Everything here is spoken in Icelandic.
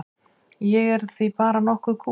Ég er því bara nokk kúl.